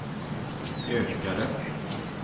ökade